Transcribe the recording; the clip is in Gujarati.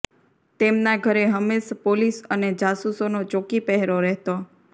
તેમના ઘરે હંમેશ પોલીસ અને જાસૂસોનો ચોકી પહેરો રહેતો